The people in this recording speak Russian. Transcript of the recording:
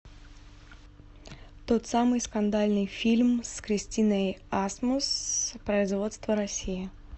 тот самый скандальный фильм с кристиной асмус производства россия